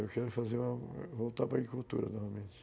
Eu quero fazer uma... voltar para agricultura, novamente.